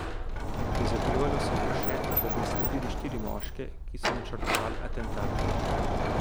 Prizadevalo si bo še, da bi izsledili štiri moške, ki so načrtovali atentat.